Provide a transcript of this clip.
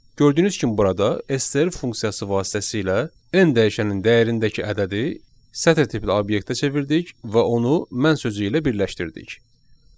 Gördüyünüz kimi burada STR funksiyası vasitəsilə n dəyişənin dəyərindəki ədədi sətr tipli obyektə çevirdik və onu mən sözü ilə birləşdirdik.